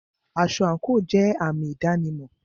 Aṣọ àńkò jẹ àmì ìdánimọ̀.